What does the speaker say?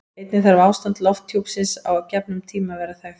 Einnig þarf ástand lofthjúpsins á gefnum tíma að vera þekkt.